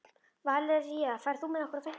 Valería, ferð þú með okkur á fimmtudaginn?